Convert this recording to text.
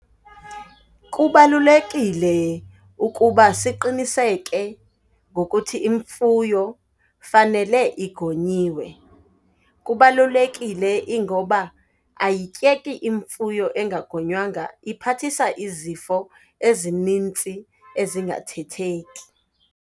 Kubalulekile ukuba siqiniseke ngokuthi imfuyo fanele igonyiwe. Kubalulekile ingoba ayityeki imfuyo engagonywanga, iphathisa izifo ezinintsi ezingathetheki.